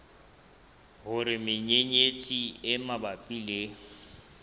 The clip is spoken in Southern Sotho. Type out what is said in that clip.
hore menyenyetsi e mabapi le